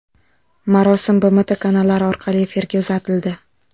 Marosim BMT kanallari orqali efirga uzatildi.